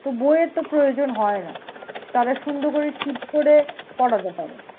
তো বই এর তো প্রয়োজন হয়না তারা সুন্দর করে sheet করে পড়াতে পারে।